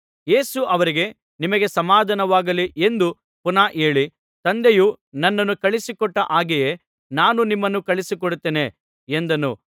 ಯೇಸು ಅವರಿಗೆ ನಿಮಗೆ ಸಮಾಧಾನವಾಗಲಿ ಎಂದು ಪುನಃ ಹೇಳಿ ತಂದೆಯು ನನ್ನನ್ನು ಕಳುಹಿಸಿಕೊಟ್ಟ ಹಾಗೆಯೇ ನಾನೂ ನಿಮ್ಮನ್ನು ಕಳುಹಿಸಿಕೊಡುತ್ತೇನೆ ಎಂದನು